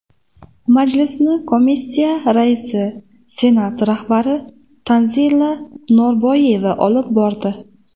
Majlisni komissiya raisi Senat rahbari Tanzila Norboyeva olib bordi.